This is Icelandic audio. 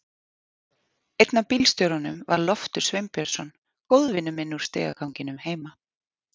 Einn af bílstjórunum var Loftur Sveinbjörnsson, góðvinur minn úr stigaganginum heima.